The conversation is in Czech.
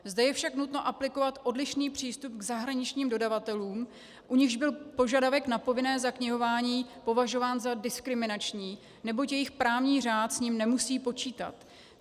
Zde je však nutno aplikovat odlišný přístup k zahraničním dodavatelům, u nichž byl požadavek na povinné zaknihování považován za diskriminační, neboť jejich právní řád s ním nemusí počítat.